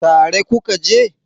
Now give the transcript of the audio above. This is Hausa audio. tare ku ka je?